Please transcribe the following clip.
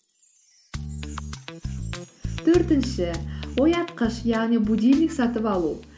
төртінші оятқыш яғни будильник сатып алу